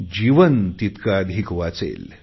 जीवन तितके अधिक वाचेल